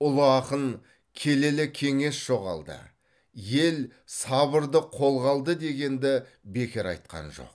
ұлы ақын келелі кеңес жоғалды ел сабырды қолға алды дегенді бекер айтқан жоқ